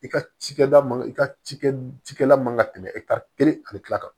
I ka cikɛda man i ka ci kɛ cikɛla man ka tɛmɛ e ka kelen ani kila kan